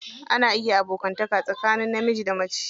Ana iya abokanta tsakanin namiji da mace.